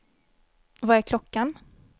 Vad är klockan